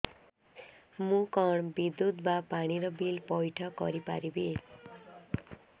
ମୁ କଣ ବିଦ୍ୟୁତ ବା ପାଣି ର ବିଲ ପଇଠ କରି ପାରିବି